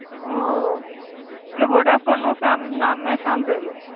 ઓ એ વોડાફોન નું સામ નામ મેં સાંભળેલું.